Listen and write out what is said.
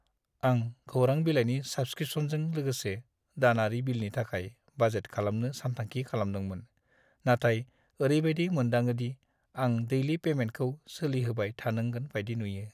आं खौरां बिलाइनि साब्सक्रिपसनजों लोगोसे दानारि बिलनि थाखाय बाजेट खालामनो सानथांखि खालामदोंमोन, नाथाय ओरैबायदि मोनदाङोदि आं डैलि पैमेन्टखौ सोलिहोबाय थानांगोन बायदि नुयो।